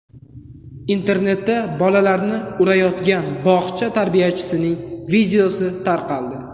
Internetda bolalarni urayotgan bog‘cha tarbiyachisining videosi tarqaldi.